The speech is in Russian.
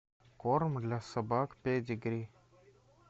корм для собак педигри